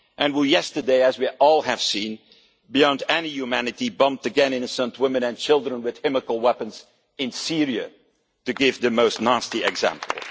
And yesterday, as we all have seen, beyond any humanity, autocrats again bombed innocent women and children with chemical weapons in Syria, to give the nastiest example.